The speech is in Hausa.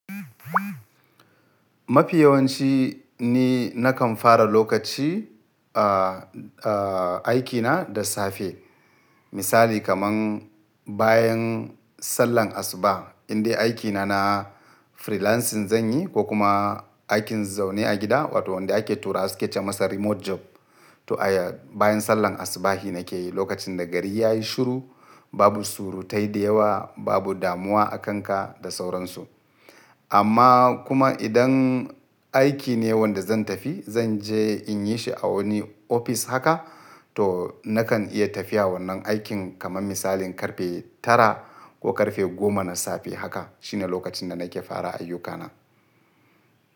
Mafi yawanci ni nakan fara lokaci, a, a aikina da safe. Misali kaman bayan sallan asuba, indai aikina na freelancing zanyi ko kuma aikin zaune a gida, wato wanda ake tura su ake ce masa remote job. To aya, bayan sallan asubahi nake yi lokacin da gari ya yi shiru, babu surutai da yawa, babu damuwa a kanka da sauransu. Amma kuma idan aiki ne wanda zan tafi, zan je in yi shi a wani ofis haka, to nakan iya tafiya wannan aikin kaman misalin karfe tara ko karfe goma na safe haka. Shine lokacin da nake fara ayyukana.